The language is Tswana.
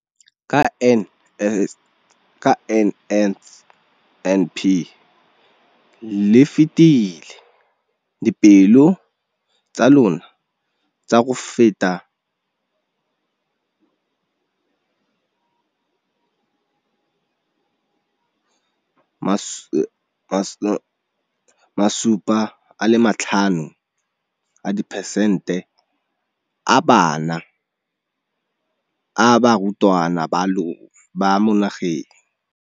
Ka ka NSNP le fetile dipeelo tsa lona tsa go fepa 75 a dipercent-e ya barutwana ba mo nageng.